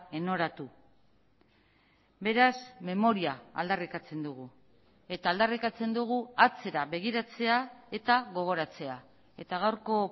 enoratu beraz memoria aldarrikatzen dugu eta aldarrikatzen dugu atzera begiratzea eta gogoratzea eta gaurko